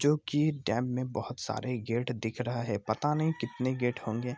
जो कि डैम में बहुत सारे गेट दिख रहे है पता नहीं कितने गेट होंगे।